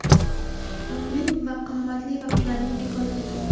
Umring va qimmatli vaqtlaring bekor ketadi.